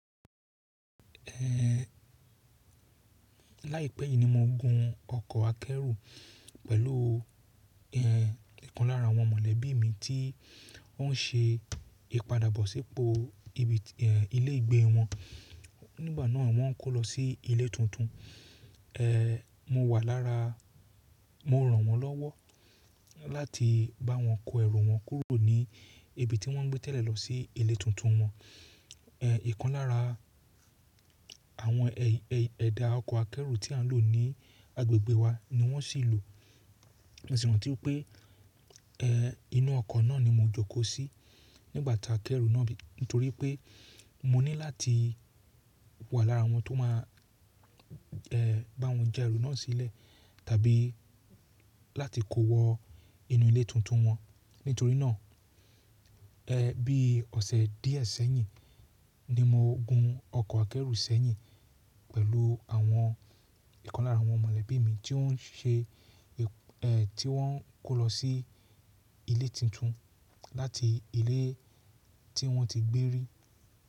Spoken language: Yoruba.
Láìpẹ́ yìí ni mo gun ọkọ̀ akẹ́rù pẹ̀lú ìkan lára àwọn mọ̀lẹ́bí mi tí wọ́n ṣe ìpadàbọ̀sípo ibi èè ilé ìgbé wọn. Nígbà náà wọ́n kó lọ sí ilé tuntun. Ẹẹ, mo wà lára, mo ràn wọ́n lọ́wọ́ láti bá wọn kó ẹrù wọn kúrò ní ibi tí wọ́n ń gbé tẹ̀lé lọ sí ilé tuntun wọn. Èè ìkan lára àwọn ẹ̀dà ọkọ̀ akẹ́rù tí à ń lò ní agbègbè wa ni wọ́n sì lò. Mo sì rántí pé èè inú ọkọ̀ náà ni mo jókòó sí nígbà tá a k'ẹ́rù náà, nítorí pé mo ní láti wà lára àwọn tó máa èè bá wọn ja ẹrù náà sílẹ̀ tàbí láti kó wọ inú ilé tuntun wọn. Nítorí náà èè bí ọ̀sẹ̀ díẹ̀ sẹ́yìn ni mo gun ọkọ̀ akẹ́rù ṣẹ̀yìn pẹ̀lú àwọn èèkàn lára àwọn mọ̀lẹ́bí mi tí ó ń ṣe èè tí wọ́n ń kó lọ sí ilé tuntun láti ilé tí wọ́n ti gbé rí.